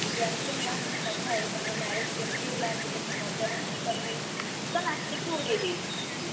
दीदी ଆସିଲେ ମୁଁ ତାଙ୍କ ସହିତ କଥା ହେବି। ତାଙ୍କ marriage କେମିତି ହେଲା? ସିଏ କେତେ ମଜାମସ୍ତି କଲେ? ତୁ ତ ନାଚିକି ଉଡେଇଦେଇଛୁ।